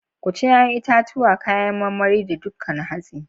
Ku ci 'ya'yan itatuwa, kayan marmari, da dukan hatsi.